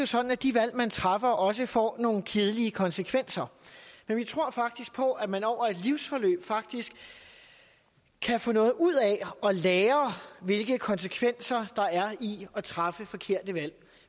sådan at de valg man træffer også får nogle kedelige konsekvenser men vi tror faktisk på at man over et livsforløb kan få noget ud af at lære hvilke konsekvenser der er i at træffe forkerte valg